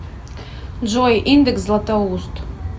джой индекс златоуст